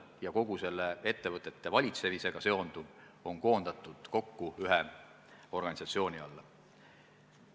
Ja kogu see ettevõtete valitsemisega seonduv peaks olema koondatud kokku ühe organisatsiooni alla.